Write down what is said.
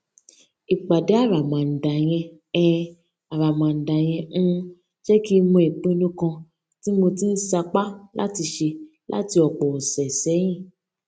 ìpàdé àràmàǹdà yẹn um àràmàǹdà yẹn um jé kí n mọ ìpinnu kan tí mo ti ń sapá láti ṣe láti òpò òsè séyìn